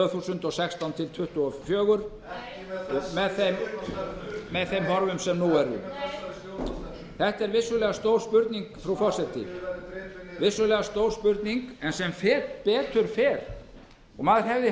þúsund og sextán til tvö þúsund tuttugu og fjögur eða árunum sem þá fara í hönd það er vissulega stór spurning sem betur fer eru allar vísbendingar í þessum efnum á þann veg að